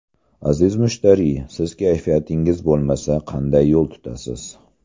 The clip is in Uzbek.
Aziz mushtariy, siz kayfiyatingiz bo‘lmasa, qanday yo‘l tutasiz?